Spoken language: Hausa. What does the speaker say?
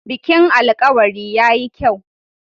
Bikin alkawari ya yi kyau.